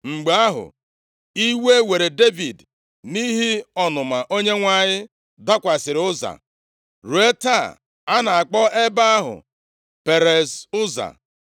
Mgbe ahụ, iwe were Devid, nʼihi ọnụma Onyenwe anyị dakwasịrị Ụza. Ruo taa, a na-akpọ ebe ahụ Perez Ụza. + 6:8 Perez Ụza pụtara ihe ntiwapụta megide Ụza